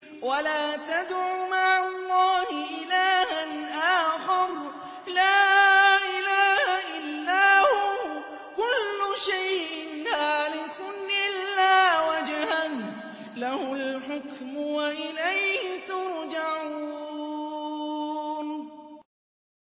وَلَا تَدْعُ مَعَ اللَّهِ إِلَٰهًا آخَرَ ۘ لَا إِلَٰهَ إِلَّا هُوَ ۚ كُلُّ شَيْءٍ هَالِكٌ إِلَّا وَجْهَهُ ۚ لَهُ الْحُكْمُ وَإِلَيْهِ تُرْجَعُونَ